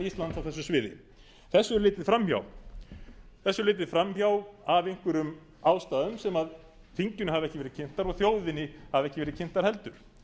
á þessu sviði þessu litu þeir fram hjá af einhverjum ástæðum sem þinginu hafa ekki verið kynntar og þjóðinni hafa ekki verið kynntar heldur